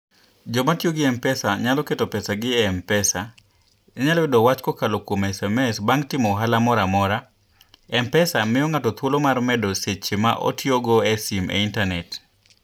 Joma tiyo gi M-Pesa nyalo keto pesagi e M-Pesa. Inyalo yudo wach kokalo kuom SMS bang' timo ohala moro amora. M-Pesa miyo ng'ato thuolo mar medo seche ma otiyogo e simo e intanet.